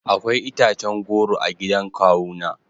Akwai itacen goro a gidan kawuna